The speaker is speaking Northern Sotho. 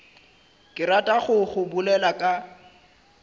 ke ratago go bolela ka